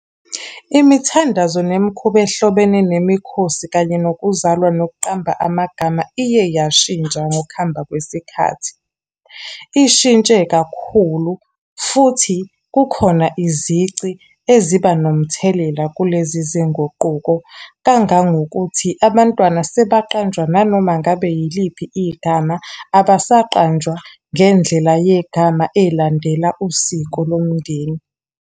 Imithandazo nemikhuba ehlobene nemikhosi kanye nokuzalwa nokuqamba amagama, iye yashintsha ngokuhamba kwesikhathi. Ishintshe kakhulu, futhi kukhona izici eziba nomthelela kulezi zinguquko. Kangangokuthi abantwana sebaqanjwa nanoma ngabe yiliphi igama. Abasaqanjwa ngendlela yegama ey'landela usiko lomndeni.